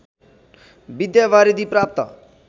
विद्यावारिधी प्राप्त